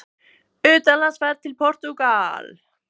UTANLANDSFERÐ TIL PORTÚGAL